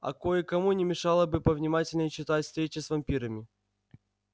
а кое-кому не мешало бы повнимательнее читать встречи с вампирами